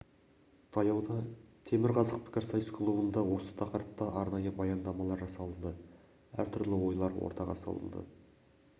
таяуда темір қазық пікірсайыс клубында осы тақырыпта арнайы баяндамалар жасалынды әртүрлі ойлар ортаға салынды